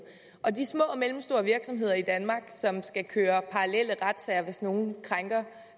og de små og mellemstore virksomheder i danmark som skal køre parallelle retssager hvis nogen krænker